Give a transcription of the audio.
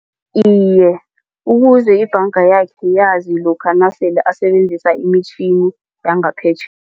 Iye, ukuze ibhanga yakhe yazi lokha nasele asebenzisa imitjhini